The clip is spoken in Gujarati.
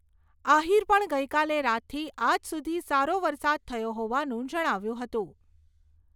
આહીરે પણ ગઈકાલે રાતથી આજ સુધી સારો વરસાદ થયો હોવાનું જણાવ્યું હતું.